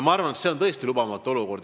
Ma arvan, et see on tõesti lubamatu olukord.